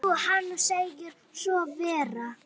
Jú, hann segir svo vera.